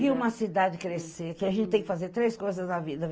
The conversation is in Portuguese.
Vi uma cidade crescer, que a gente tem que fazer três coisas na vida.